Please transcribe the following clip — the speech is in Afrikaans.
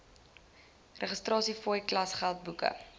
registrasiefooie klasgeld boeke